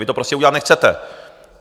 Vy to prostě udělat nechcete.